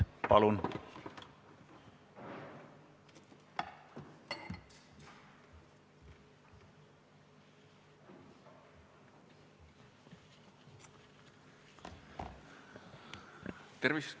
Palun!